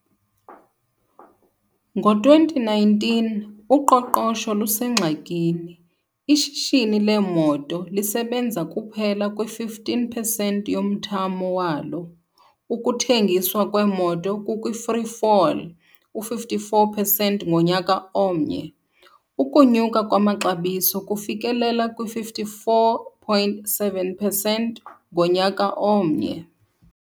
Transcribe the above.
Ngo-2019, uqoqosho lusengxakini, ishishini leemoto lisebenza kuphela kwi-15 percent yomthamo walo, ukuthengiswa kweemoto kukwi-free fall, -54 percent ngonyaka omnye, ukunyuka kwamaxabiso kufikelela kwi-54.7 percent ngonyaka omnye.